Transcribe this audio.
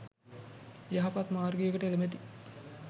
යහපත් මාර්ගයට එළැඹෙති.